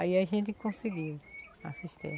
Aí a gente conseguiu a